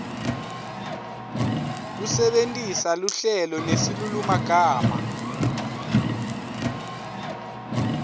kusebentisa luhlelo nesilulumagama